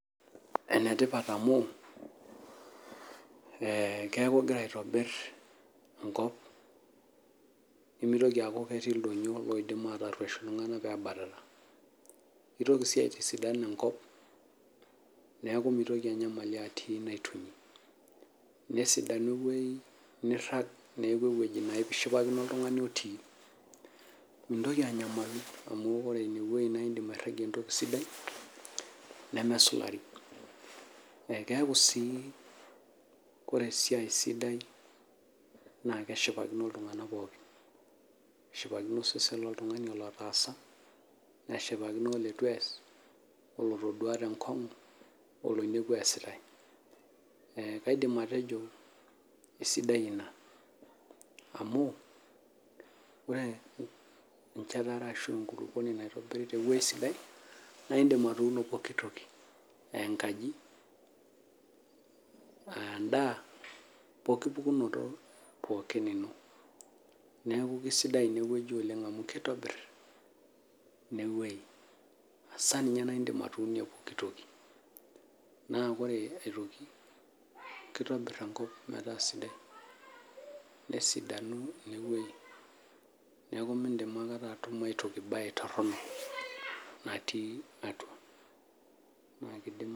Enetipat amu keaku ingira aitobir enkop nimitoki aaku ketii ildonyio ojo mataruesh iltunganak pebatata , kitoki sii aitisidan enkop niaku mitoki enyamali atii naitunyi ,nesidanu , nirag , niaku ewueji naa ishipakino oltungani otii , mintoki anyamali amu ore inewueji naa iragie entoki sidai nemesulari . Ekeaku sii ore esiai sidai naa keshipakino oltungani pookin ,keshipakino osesen loltungani ilo otaasa , neshipakino olitu ees oltodua tenkongu ,oloinepua easitae .Ee kaidim atejo isidai ina amu ore enterit natubulua tewuei sidai naa indim atuuno poki toki eenkaji poki pukunoto niaku isidai inewueji amu kitobir inewuei ,hasa ninye indim atunie poki toki ,naa ore aetoki kitobir enkop metaa sidai , nesidanu inewuei , neku mintoki atum aetoki torono natii atua.